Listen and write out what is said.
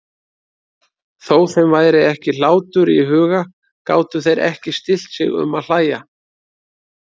Þó þeim væri ekki hlátur í huga gátu þeir ekki stillt sig um að hlæja.